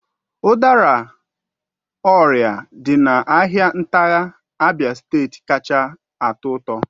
Udara orie dị na ahịa ntigha, Abia steeti kacha atọ ụtọ